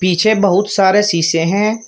पीछे बहुत सारे शीशे हैं।